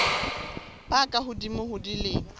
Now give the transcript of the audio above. ba ka hodimo ho dilemo